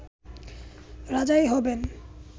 রাজাই হবেন